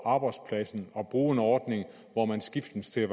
arbejdspladsen at bruge en ordning hvor man skiftes til at